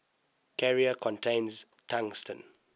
carrier contains tungsten